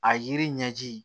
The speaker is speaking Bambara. A yiri ɲɛji